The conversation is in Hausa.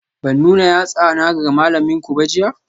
Ban nuna yatsana ga malaminku ba jiya?